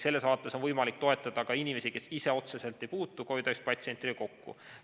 Selles vaates on võimalik toetada ka inimesi, kes ise otseselt ei puutu COVID‑19 patsientidega kokku.